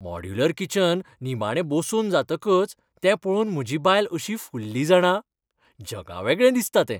Modular kitchen निमाणें बसोवन जातकच तें पळोवन म्हजी बायल अशी फुल्ली जाणा. जगावेगळें दिसता तें!